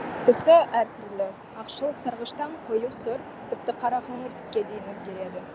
түсі әр түрлі ақшыл сарғыштан қою сұр тіпті қара қоңыр түске дейін өзгереді